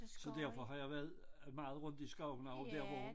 Så derfor har jeg været øh meget rundt i skoven ovre dér hvor